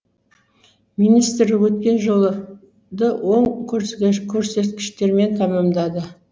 министр өткен жылы ды оң көрсеткіштермен тәмәмдады